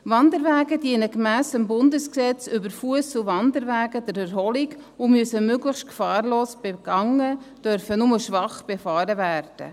Wanderwege dienen gemäss Bundesgesetz über Fuss- und Wanderwege (FWG) der Erholung, sie müssen möglichst gefahrlos begangen und dürfen nur schwach befahren werden.